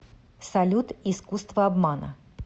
салют искуство обмана